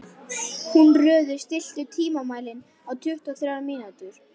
Húnröður, stilltu tímamælinn á tuttugu og þrjár mínútur.